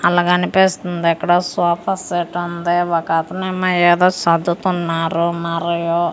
అలా కనిపిస్తుంది ఇక్కడ ఓ సోఫాసెట్ ఉంది ఒక అతను ఏమో ఏదో చదువుతున్నారు మరియు ఇ--